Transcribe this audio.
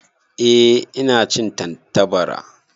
Ehh ina cin Tantabara.